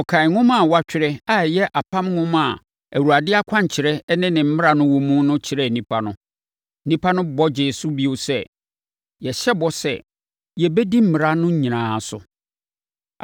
Ɔkan nwoma a watwerɛ a ɛyɛ Apam Nwoma a Awurade akwankyerɛ ne ne mmara wɔ mu no kyerɛɛ nnipa no. Nnipa no bɔ gyee so bio sɛ, “Yɛhyɛ bɔ sɛ, yɛbɛdi mmara no nyinaa so.”